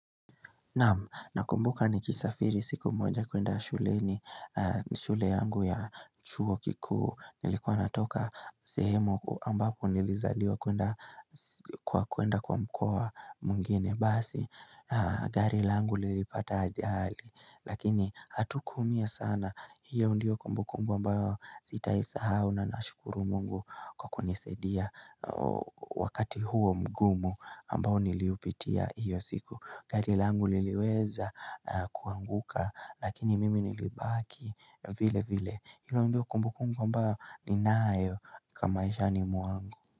Na kumbuka ni kisafiri siku moja kuenda shule ni shule yangu ya chuo kiku nilikuwa natoka sehemu ambapo nilizaliwa kuenda kuwa kuenda kwa mkoa mungine basi Gari langu lilipata ajali lakini hatu kumia sana hiyo ndiyo kumbuku ambayo sitaisahau na na shukuru mungu kwa kunisedia wakati huo mgumu ambayo niliupitia hiyo siku garila angu liliweza kuanguka lakini mimi ni libaki vile vile Hilo ndio kumbukungu ambayo ni nayo kamaisha ni muangu.